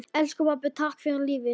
Elsku pabbi, takk fyrir lífið.